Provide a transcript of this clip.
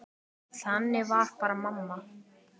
Þannig var bara mamma.